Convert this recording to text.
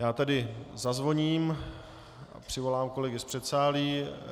Já tedy zazvoním a přivolám kolegy z předsálí.